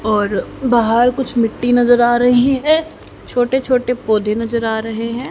और बाहर कुछ मिट्टी नजर आ रही है छोटे छोटे पौधे नजर आ रहे हैं।